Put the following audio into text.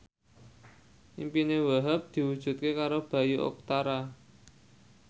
impine Wahhab diwujudke karo Bayu Octara